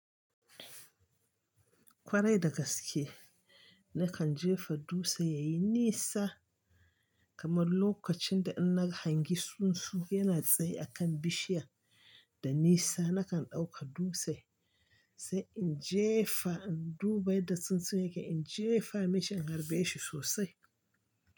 Kwarai da gaske, na kan jefa dutse ya yi nisa kamar lokacin da ina hangi tsuntsu yana tsaye a kan bishiya da nisa nakan ɗauka dutse sai in jefa in duba yadda tsuntsun yake, in jefa mashi in harbe shi sosai.